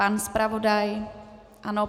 Pan zpravodaj ano.